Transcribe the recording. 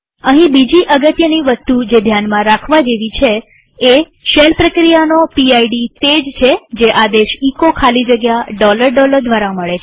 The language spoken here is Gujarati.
અહીં બીજી અગત્યની વસ્તુ જે ધ્યાનમાં રાખવા જેવી એ છે કે શેલ પ્રક્રિયાનો પીડ તે જ છે જે આદેશ એચો ખાલી જગ્યા દ્વારા મળે છે